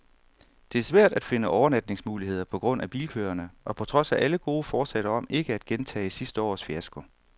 Det er svært at finde overnatningsmuligheder på grund af bilkøerne og på trods af alle gode forsætter om ikke at gentage sidste års fiasko.